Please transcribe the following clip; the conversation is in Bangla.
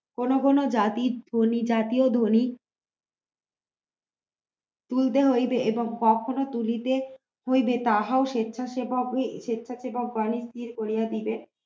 কোন কোন জাতি গুলি জাতীয় ধ্বনি তুলতে হইবে কখনো তুলিতে হইবে তাহাও স্বেচ্ছাসেবক স্বেচ্ছাসেবক গন স্থির করিয়া দিবে